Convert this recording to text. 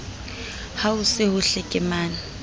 ha ho se ho hlekemane